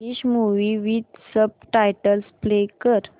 English movie with subtitles play कर